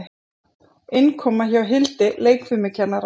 Innkoma hjá Hildi leikfimikennara.